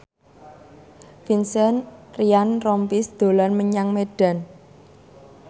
Vincent Ryan Rompies dolan menyang Medan